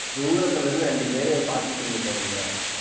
தூரத்துல இருந்து ரெண்டு பேரு பாத்துட்டு இருந்திருக்கானுங்க